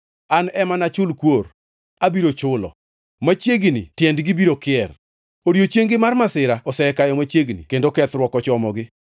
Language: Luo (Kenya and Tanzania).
An ema nachul kuor, abiro chulo. Machiegnini tiendgi biro kier, odiechieng-gi mar masira osekayo machiegni kendo kethruok ochomogi.